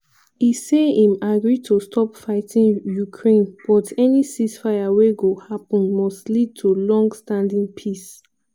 e say im agree to stop fighting ukraine but any ceasefire wey go happun must lead to long-standing peace.